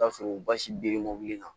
I bi taa sɔrɔ basi beremɔbili la